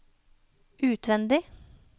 utvendig